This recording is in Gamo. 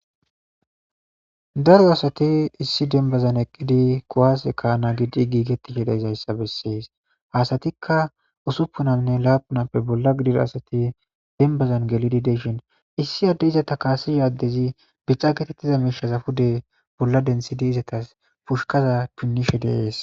Daro asati issi dembazan eqqidi kuwase ka'ana giidi gigetishe dizayssa besees ha asastika usupunanne lapunappe bolla gidida asati dembazan gelidi de'ishin issi adey izeta kaasiza addezi bica geetetiza miishaza pude bolla denthidi izetas pushkaza punnishe de'es.